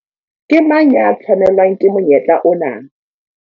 Ke mang ya tshwanelwang ke monyetla ona?